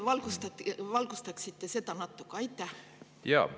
Äkki te valgustaksite seda natuke?